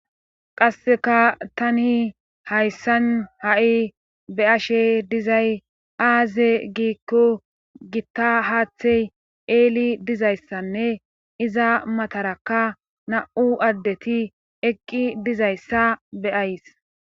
qasseka tani hayssan ha7i be'ashe dizay aaze giikko gitta haathey eeli dizayssanne iza matarakka na7u addeti eqqi dizayssa beyays